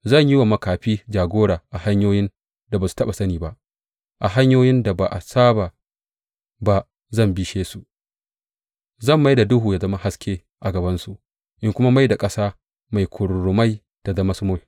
Zan yi wa makafi jagora a hanyoyin da ba su taɓa sani ba, a hanyoyin da ba a saba ba zan bishe su; zan mai da duhu ya zama haske a gabansu in kuma mai da ƙasa mai kururrumai ta zama sumul.